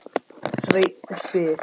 Sveinn spyr: